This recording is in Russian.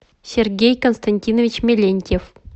сергей константинович мелентьев